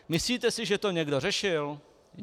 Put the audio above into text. Myslíte si, že to někdo řešil?